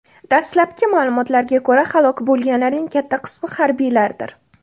Dastlabki ma’lumotlarga ko‘ra, halok bo‘lganlarning katta qismi harbiylardir.